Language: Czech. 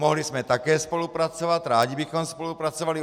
Mohli jsme také spolupracovat, rádi bychom spolupracovali.